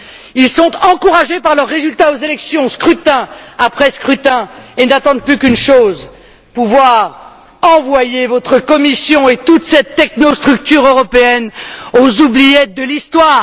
Ils sont encouragés par leur résultat aux élections, scrutin après scrutin, et n'attendent plus qu'une chose pouvoir envoyer votre Commission et toute cette technostructure européenne aux oubliettes de l'histoire.